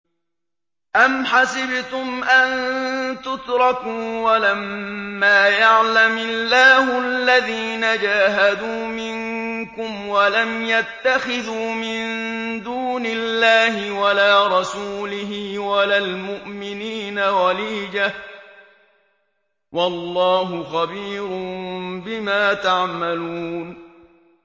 أَمْ حَسِبْتُمْ أَن تُتْرَكُوا وَلَمَّا يَعْلَمِ اللَّهُ الَّذِينَ جَاهَدُوا مِنكُمْ وَلَمْ يَتَّخِذُوا مِن دُونِ اللَّهِ وَلَا رَسُولِهِ وَلَا الْمُؤْمِنِينَ وَلِيجَةً ۚ وَاللَّهُ خَبِيرٌ بِمَا تَعْمَلُونَ